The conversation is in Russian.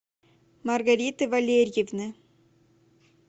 маргариты валерьевны